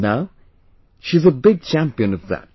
Now, she is a big champion of that